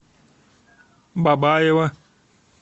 бабаево